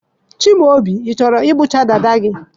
Chimaobi, ị chọrọ ịkpọchi dada gị?